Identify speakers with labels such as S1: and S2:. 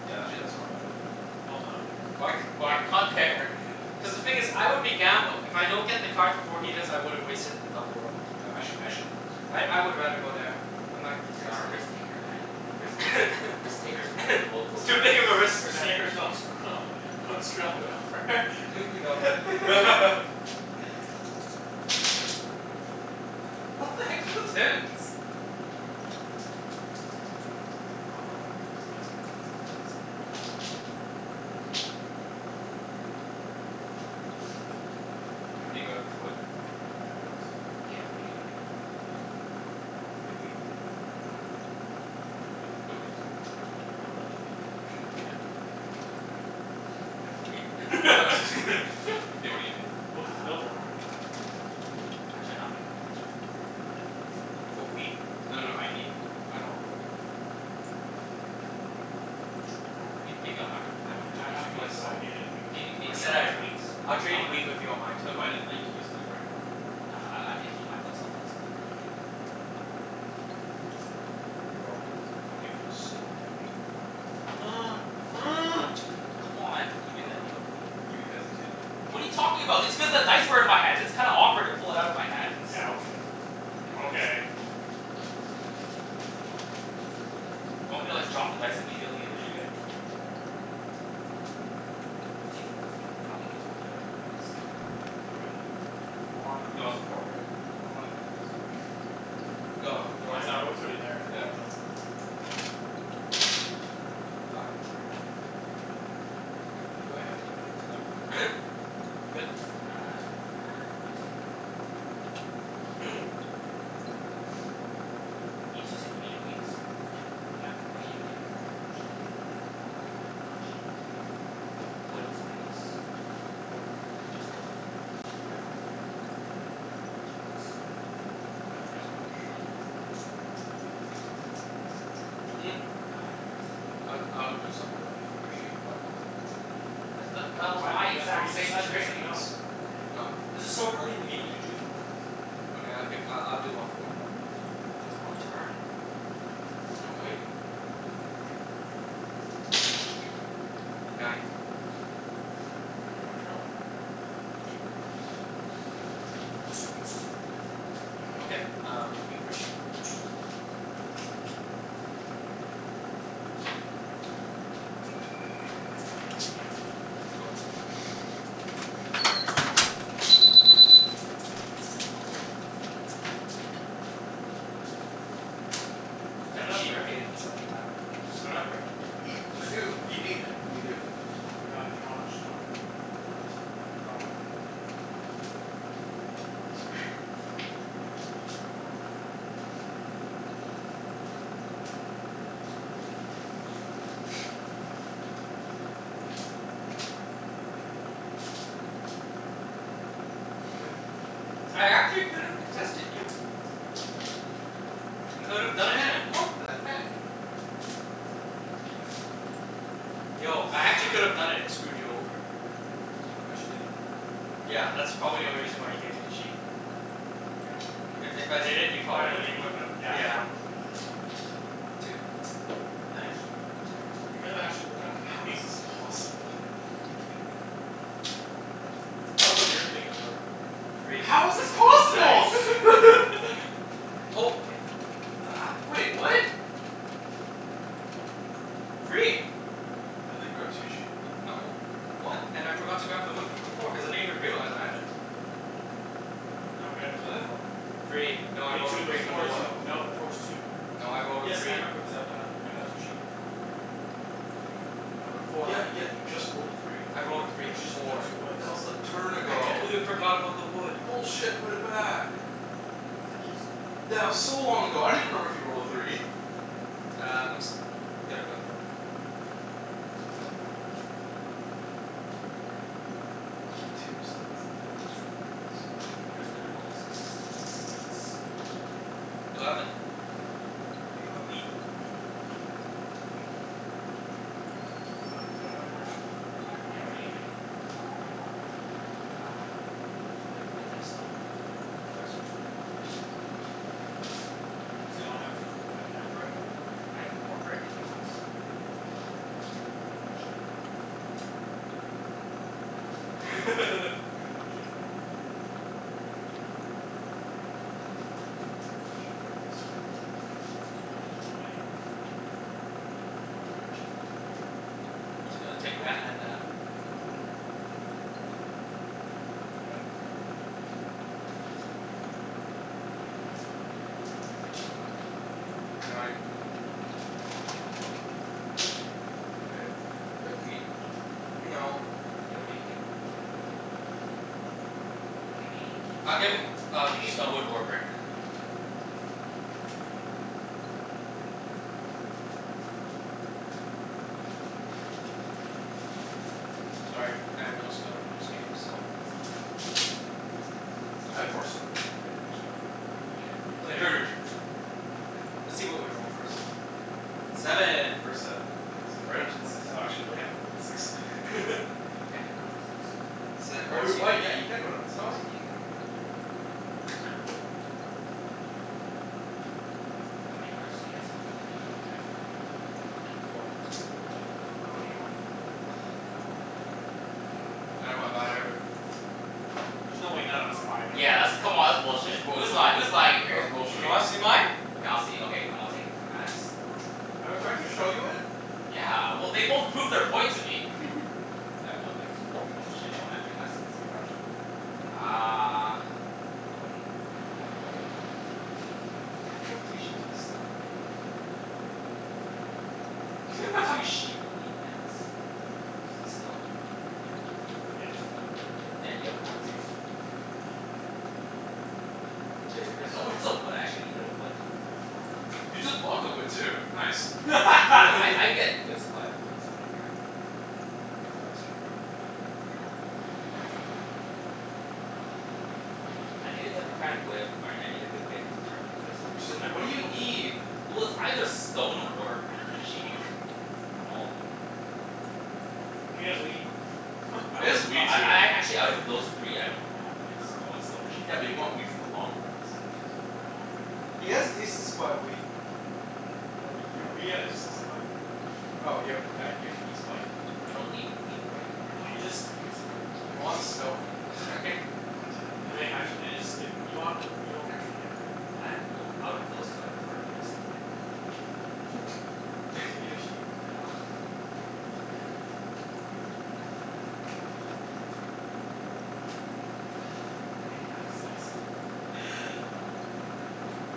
S1: Yeah, that's actually not a bad idea too.
S2: No no, not there.
S3: Why c-
S4: Yeah,
S3: why
S4: not there.
S3: Cuz the thing is I would be gambling. If I don't get the cards before he does, I would've wasted the double road.
S1: Yeah, actually, I actually like this.
S3: I I would rather go there. I'm not
S4: You're not a
S3: contesting.
S4: risk taker, man. Risk takers, risk takers make the world
S3: It's
S4: go
S3: too
S4: round.
S3: big of a risk,
S2: Risk
S3: man.
S2: takers don't screw
S1: Go.
S3: Go.
S1: Ten. What the heck's with the tens?
S2: Um, yeah, I'm good.
S1: Yes man. Eight. Hey K,
S2: I can't
S1: anybody got wood?
S2: Pretty bad rounds.
S4: Yeah, what are you gonna give me?
S1: What do you need?
S2: You have wheat?
S1: I don't have wheat. Nobody h- nobody has wheat.
S2: Oh, really?
S1: Yeah, nobody should
S2: Oh,
S1: have wheat.
S2: yeah.
S4: I have wheat.
S1: K, what do you need?
S2: Well,
S1: What
S2: if
S1: do
S2: he's
S1: you need?
S4: Uh Actually no, I'm gonna keep it for this round though, thank you.
S1: Mat? Do you wanna trade?
S3: For wheat?
S1: No no
S2: Wood.
S1: no, I need wood.
S3: I don't have wood.
S1: Come on, Alvin.
S4: Uh, maybe maybe on my round, if I don't end
S1: Do
S2: I
S4: up
S1: do
S2: have
S4: using
S1: me
S4: it.
S1: a
S2: wood, but I
S1: solid.
S2: needed wheat.
S4: Maybe
S3: I
S4: maybe
S3: said
S4: on
S3: I
S4: my
S3: had wheat.
S4: rounds but
S3: I'll
S4: I
S3: trade
S4: wanna
S3: wheat with you on my turn.
S1: No but I n- I need to use it like, right now.
S4: Nah, I I need to keep my fel- self flexible, early game.
S3: Roll.
S1: I'll give you a stone and a sheep.
S4: Done. Um two, come on, he made that deal with me.
S1: You hesitated though.
S4: What are you talking about? It's cuz the dice were in my hand. It's kinda awkward to pull it outta my hands.
S2: Yeah, okay. Okay.
S4: Do you want me to like drop the dice immediately
S2: What are
S4: and
S2: you
S4: like
S2: doing?
S3: Mm.
S4: I don't think he was going that way anyways.
S2: I'm going that way. I wanted this.
S1: You want the port, right?
S2: I wanted this before.
S3: Go.
S1: Oh.
S4: You
S3: Roll.
S2: Cuz
S4: wanted what before?
S1: Yeah.
S2: I
S3: Fi- Do I have any fives? No. Good?
S4: Uh, no, I'm gonna do something. Uh Ibs, you said you needed wheat?
S2: Yeah.
S4: What are you gonna give me for it?
S2: Sheep?
S4: Ah, not sheep.
S2: Wood?
S4: Wood and something else.
S2: Wood.
S4: Just wood?
S2: Yeah.
S4: Two woods.
S2: Well, I only have one wood.
S4: Oh, you only one wood?
S3: Mm.
S4: Ah, no, I can't.
S3: I g- I would do something with you for the sheep, but I want one more.
S4: That's th- that was my
S2: What? That's what he
S4: exact
S2: just
S4: same
S2: said and I said
S4: trade.
S2: no.
S3: No.
S2: This is so early in the game to do two for ones.
S3: Okay, I'll gi- I'll do one for one though.
S4: Well
S2: I'll
S4: it's my
S2: do one for
S4: turn.
S2: one.
S3: And I'm waiting.
S4: K, I'm good.
S3: Nine.
S2: Do you wanna turn a light on?
S1: Yeah, sure.
S3: Okay, um wheat for sheep. Go.
S2: My turn?
S3: Mhm. Three.
S2: Is that
S3: That
S2: not a
S3: sheep
S2: brick?
S3: paid itself back.
S2: Does anyone have brick?
S1: I do. What do you need? What are you gonna give?
S2: Ah, do you want stone?
S1: I don't need a stone.
S2: Do you want wood?
S1: Done. Sorry.
S2: I'm good.
S3: I actually could have contested you. I could have done it, man.
S1: Ten! What the heck?
S4: That's how it feels, Chancey. That's
S3: Yo,
S4: how
S3: I
S4: it feels.
S3: actually could've done it and screwed you over.
S1: Okay.
S2: But you didn't.
S4: Yeah,
S3: Yeah,
S4: but
S3: that's probably
S4: you
S3: the
S4: didn't.
S3: only reason why you gave me the sheep.
S2: Yeah.
S4: You
S3: If
S4: good?
S3: if I did it, you
S2: Oh
S3: probably
S2: yeah, then
S3: wouldn't
S2: you wouldn't have, yeah,
S3: Yeah.
S2: so
S3: Two.
S2: Nice.
S4: I'm sorry.
S2: That kind of actually worked out for
S1: How
S2: me.
S1: is this possible?
S2: That was a weird thing to work.
S3: Three.
S1: How is this possible?
S2: Nice.
S4: What
S3: Oh,
S4: the heck?
S3: okay. Uh.
S1: Wait, what?
S3: Three.
S1: Oh, I thought you grabbed two sheep?
S3: No. One. And I forgot to grab the wood from before cuz I didn't even realize I had it.
S2: No, we had a two to four.
S3: Free.
S2: You
S3: No, I
S2: had
S3: rolled a
S2: two
S3: three
S2: before
S3: before.
S1: two
S2: though.
S1: before
S2: No, before's
S1: that.
S2: two.
S3: No, I rolled a
S2: Yes, I
S3: three.
S2: remember cuz I only got, I got two sheep.
S3: No, three.
S2: No, before
S1: Yeah yeah, you just rolled a three.
S3: I rolled a
S2: But
S3: free
S2: you just picked up
S3: before.
S2: two woods.
S1: That was a turn
S3: I
S1: ago.
S4: Yeah.
S3: completely forgot about the wood.
S1: Bullshit. Put it back.
S4: Yo, that's actually so long ago.
S1: That was so long ago. I don't even remember if you rolled a three.
S3: Uh, I'm s- gonna build a road. Go.
S1: Twos, threes and tens. This game is bullshit.
S4: There's been a couple sixes, twos and eights.
S3: Eleven.
S1: I can work with that.
S2: Um, does anyone have brick?
S1: I do.
S4: Yeah, what are you
S1: What
S4: gonna
S1: do you
S4: give me?
S1: need?
S2: What do you want?
S4: Uh, wood wha- do you have stone?
S1: I have stone.
S2: Does anyone have wood and brick?
S4: I have more brick if you want?
S2: Do you want sheep?
S4: Nah, it's okay.
S2: Okay. I'm just gonna build a road.
S1: Which way are you going this time?
S2: I can only go one way. Only one direction.
S3: Just gonna take
S1: One
S3: that
S1: dir-
S3: and that.
S2: Go ahead.
S4: Chancey.
S3: Nine.
S1: K, do you have wheat?
S3: No.
S4: Yeah, what are you gonna give me?
S1: What do you need?
S4: Gimme
S3: I'll give
S1: Stone?
S3: i- uh,
S4: Gimme
S3: stone.
S4: wood or brick. Oh.
S1: Thank you Mat.
S3: Sorry, I have no stone in this game, so
S4: It's all good.
S1: I have more stone if you can trade me more stuff.
S4: You got yo-
S1: Y- your
S3: Later.
S1: turn, your turn.
S3: Let's see what we roll, first.
S1: Seven.
S3: Seven.
S1: First seven. Nice.
S2: Anyone
S1: Right
S2: have
S1: onto the
S2: more than
S1: six. Oh,
S2: seven?
S1: actually no, you
S3: We're
S1: can't put it on six.
S4: Why can't I put it on the six?
S1: Oh, you're white. Yeah, you can put it on the six.
S3: Oh wait, you can.
S1: This'll do it.
S4: How many cards do you guys have?
S1: Two.
S2: I have three.
S4: Three?
S3: Four.
S2: I don't, well, what do you want?
S4: Kinda want a wood or a brick.
S2: I don't have either.
S3: I don't
S1: I
S3: have
S1: don't have
S3: either.
S1: either.
S2: There's no way none of us have either.
S4: Yeah, that's, come on, that's
S1: That's
S4: bullshit. Who's lying?
S1: bullshit.
S4: Who's lying here?
S1: That's
S3: Do you
S1: bullshit.
S3: wanna see mine?
S4: Okay, I'll see, okay, I'm not taking from Mat's.
S2: Oh, do I have to show you it?
S4: Yeah, well, they both proved their point to me.
S1: Yeah, nobody has
S4: Okay.
S1: them.
S4: Oh shit, no one actually has it.
S1: What do you actually want then?
S4: Uh Hmm, I wouldn't, well, now I know all what all you guys have. Two sheep and a stone. You have like, a I can't remember off the top of my head, but you have two sheep, a wheat, and a stone.
S2: Stone.
S4: You have
S2: He has a stone.
S4: have, yeah, you have a
S2: At
S4: ones
S2: least.
S3: Takers.
S4: Damn, no one has a wood. I actually needed a wood.
S1: You just blocked the wood, too. Nice.
S4: Well I I get good supply of wood, so I don't care.
S1: Ah, that's true.
S4: Um I need a democratic way of, all right, I need a good way of determining who to steal
S1: Oh
S4: from,
S1: just
S4: cuz I
S1: wh-
S4: re- I
S1: what do you
S4: really don't
S1: need?
S4: Well, it's either stone or or sheep. From all of you.
S1: Well, do you have like, a
S2: He
S1: good
S2: has
S1: chance of
S2: wheat.
S1: like
S4: I
S1: It
S4: don't,
S1: is
S4: no,
S1: wheat,
S4: I
S1: too.
S4: I a- actually out of those three, I don't know on wheat. I want stone or sheep.
S1: Yeah, but you want wheat for the long run cuz nobody has really, nobody really
S3: He
S1: has
S3: has
S1: wheat.
S3: decent supply of wheat.
S2: No, you,
S1: No,
S2: we
S1: he
S2: have a
S1: has
S2: decent
S1: white.
S2: supply of wheat.
S3: Oh y- p- uh, y- he's white.
S4: I don't need wheat right
S2: Can you
S4: now,
S2: just
S4: though.
S2: pick someone?
S3: If you want
S2: Let's move
S3: stone
S2: on. God damn. Wait, actually can you just give you, you want, you don't care which one you get, right?
S4: I, well, out of those two I prefer to get a stone.
S2: Oh, okay. Can I just give you a sheep?
S4: No. My ass
S2: It's
S4: off.
S2: nice.
S4: Oh my god, fine.